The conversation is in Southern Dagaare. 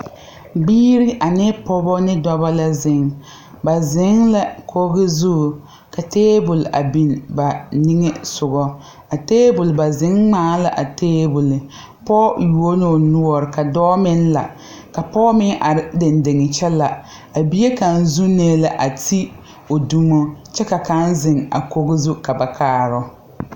Biire ane pɔɔbɔ ne dɔbɔ la zeŋ ba zeŋ la koge zu ka tabol a biŋ ba niŋesugɔ a tabole ba zeŋ ngmaa la a tabole pɔɔ yuo loo noɔre ka dɔɔ meŋ la ka pɔɔ meŋ are deŋ deŋe kyɛ la a bie kaŋ zuunee la a ti o dumo kyɛ ka kaŋa zeŋ a kogi zu ka ba kaaroo.